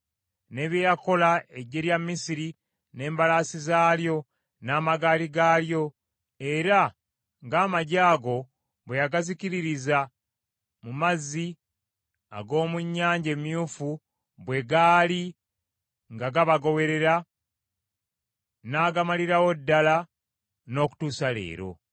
ne bye yakola eggye lya Misiri n’embalaasi zaalyo n’amagaali gaalyo; era nga amaggye ago bwe yagazikiririza mu mazzi ag’omu Nnyanja Emyufu bwe gaali nga gabagoberera, n’agamalirawo ddala n’okutuusa leero.